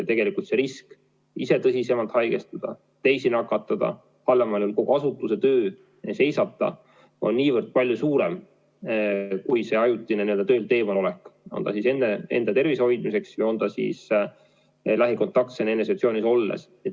Tegelikult see risk ise tõsisemalt haigestuda, teisi nakatada, halvemal juhul kogu asutuse töö seisata on niivõrd palju suurem kahju kui see ajutine töölt eemalolek, on ta siis enda tervise hoidmiseks või lähikontaktsena eneseisolatsioonis olles.